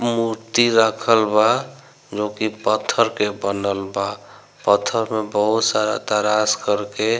मूर्ति रखल बा जोकि पत्थर के बनल बा पत्थर में बहुत सारा तरास कर के --